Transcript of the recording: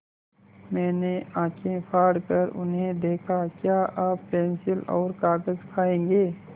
मैंने आँखें फाड़ कर उन्हें देखा क्या आप पेन्सिल और कागज़ खाएँगे